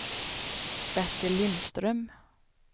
Bertil Lindström